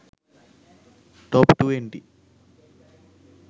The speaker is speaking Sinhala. top 20